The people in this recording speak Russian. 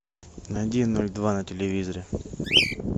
найди ноль два на телевизоре